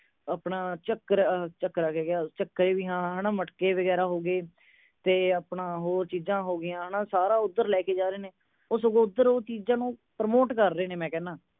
ਆਪਣਾ ਚਕਰ ਅਹ ਚੱਕਰਾ ਕਹਿ ਗਿਆ ਚਕੇ ਵੀ ਹੈ ਨਾ ਮਟਕੇ ਵਗੈਰਾ ਹੋ ਗਏ ਤੇ ਆਪਣਾ ਹੋਰ ਚੀਜ਼ਾਂ ਹੋ ਗਿਆ ਹੈ ਨਾ ਸਾਰਾ ਉਧਰ ਲੈ ਕੇ ਜਾ ਰਹੇ ਨੇ ਉਹ ਸਗੋਂ ਓਧਰ ਉਹ ਚੀਜ਼ਾਂ ਨੂੰ promote ਕਰ ਰਹੀ ਨੀਂ ਮੈਂ ਕਹਿਣਾ